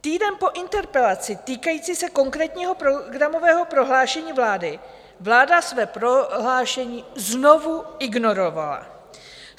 Týden po interpelaci týkající se konkrétního programového prohlášení vlády vláda své prohlášení znovu ignorovala.